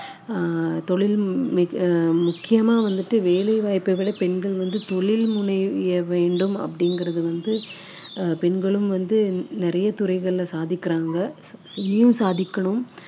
ஆஹ் தொழில் மி~ ஆஹ் முக்கியமா வந்துட்டு வேலை வாய்ப்பை விட பெண்கள் வந்து தொழில் முனைய வேண்டும் அப்படிங்குறது வந்து அஹ் பெண்களும் வந்து நிறைய துறைகளில சாதிக்குறாங்க இங்கேயும் சாதிக்கணும்